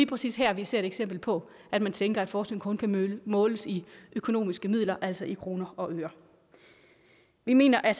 præcis her vi ser et eksempel på at man tænker at forskning kun kan måles i økonomiske midler altså i kroner og øre vi mener at